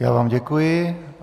Já vám děkuji.